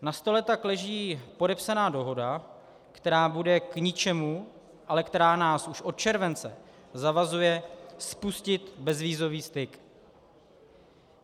Na stole tak leží podepsaná dohoda, která bude k ničemu, ale která nás už od července zavazuje spustit bezvízový styk.